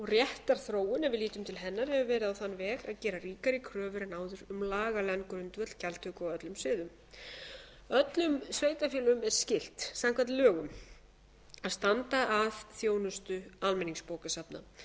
réttarþróun ef við lítum til hennar hefur verið á þann veg að gera ríkari kröfur en áður um lagalegan grundvöll gjaldtöku á öllum sviðum öllum sveitarfélögum er skylt samkvæmt lögum að standa að þjónustu almenningsbókasafna sveitarfélög hafa eðlilega